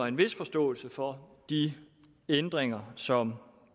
en vis forståelse for de ændringer som